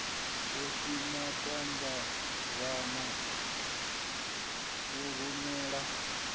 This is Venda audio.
a si matambavhana u furalela